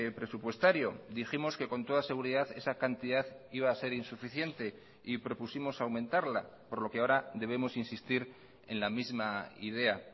presupuestario dijimos que con toda seguridad esa cantidad iba a ser insuficiente y propusimos aumentarla por lo que ahora debemos insistir en la misma idea